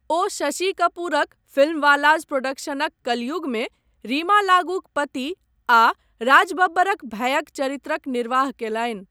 ओ शशि कपूरक फिल्मवालाज़ प्रोडक्शनक कलयुगमे रीमा लागूक पति आ राज बब्बरक भायक चरित्रक निर्वाह कयलनि।